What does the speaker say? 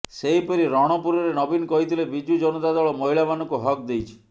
ସେହିପରି ରଣପୁରରେ ନବୀନ କହିଥିଲେ ବିଜୁ ଜନତା ଦଳ ମହିଳାମାନଙ୍କୁ ହକ୍ ଦେଇଛି